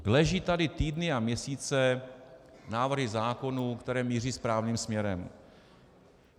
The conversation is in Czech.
Leží tady týdny a měsíce návrhy zákonů, které míří správným směrem.